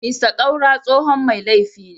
Mr Kaura tsohon mai laifi ne.